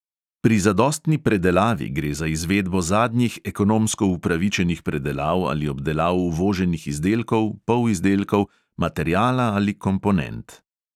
Pri zadostni predelavi gre za izvedbo zadnjih ekonomsko upravičenih predelav ali obdelav uvoženih izdelkov, polizdelkov, materiala ali komponent.